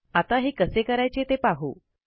आता हे कसे करायचे ते पाहू